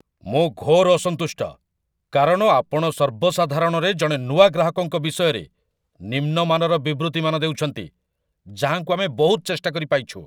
ମୁଁ ଘୋର ଅସନ୍ତୁଷ୍ଟ, କାରଣ ଆପଣ ସର୍ବସାଧାରଣରେ ଜଣେ ନୂଆ ଗ୍ରାହକଙ୍କ ବିଷୟରେ ନିମ୍ନ ମାନର ବିବୃତିମାନ ଦେଉଛନ୍ତି, ଯାହାଙ୍କୁ ଆମେ ବହୁତ ଚେଷ୍ଟା କରି ପାଇଛୁ।